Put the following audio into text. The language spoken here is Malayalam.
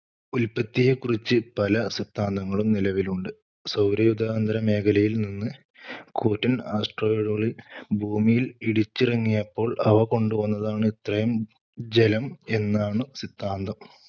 ഉൽപ്പത്തിയേക്കുറിച്ച് പല സിദ്ധാന്തങ്ങളും നിലവിലുണ്ട്. സൗരയൂഥാന്തരമേഖലയിൽനിന്ന് കൂറ്റൻ asteroid ഉകൾ ഭൂമിയിൽ ഇടിച്ചിറങ്ങിയപ്പോൾ അവ കൊണ്ടുവന്നതാണു ഇത്രയും ജലം എന്നാണു സിദ്ധാന്തം.